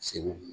Segu